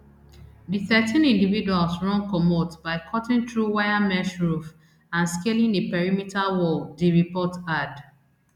di thirteen individuals run comot by cutting through wire mesh roof and scaling a perimeter wall di report add